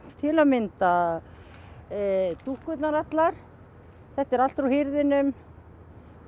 til að mynda dúkkurnar allar þetta er allt úr hirðinum ég